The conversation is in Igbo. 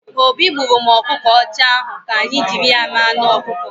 Obi gburụ m ọkụkọ ọcha ahụ, ka anyị jiri ya mee anụ ọkụkọ